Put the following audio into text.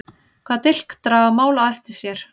Hvaða dilk draga mál á eftir sér?